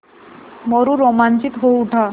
मोरू रोमांचित हो उठा